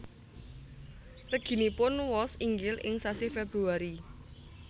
Reginipun wos inggil ing sasi Februari